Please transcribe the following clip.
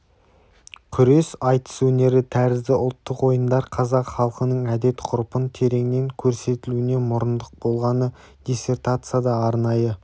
күрес айтыс өнері тәрізді ұлттық ойындар қазақ халқының әдет-ғұрпын тереңнен көрсетілуіне мұрындық болғаны диссертацияда арнайы